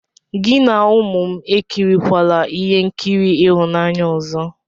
Gị na ụmụ m ekirikwala ihe nkiri ịhụnanya ọzọ!